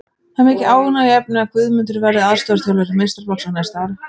Það er mikið ánægjuefni að Guðmundur verði aðstoðarþjálfari meistaraflokks á næsta ári.